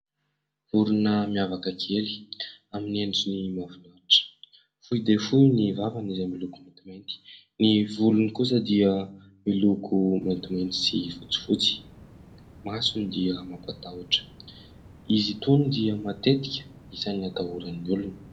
Vorona miavaka kely amin'ny endriny mahafinaritra, fohy dia fohy ny vavany izay miloko maintimainty. Ny volony kosa dia miloko maintimainty sy fotsifotsy, masony dia mampatahotra. Izy itony dia matetika isan'ny atahoran'ny olona.